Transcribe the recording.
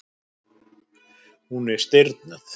Hún er stirðnuð.